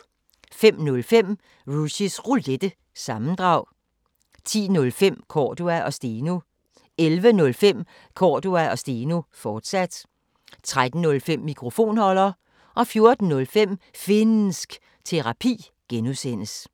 05:05: Rushys Roulette – sammendrag 10:05: Cordua & Steno 11:05: Cordua & Steno, fortsat 13:05: Mikrofonholder 14:05: Finnsk Terapi (G)